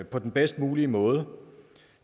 på den bedst mulige måde